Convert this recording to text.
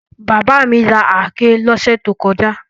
Bàbá mi ra àáké lọ́sẹ̀ tó kọjá.